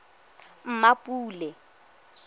mmapule